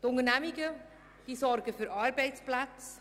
Die Unternehmungen sorgen für Arbeitsplätze.